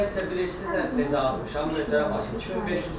Hissə-hissə bilirsiz nə cür atmışam, möhtərəm hakim?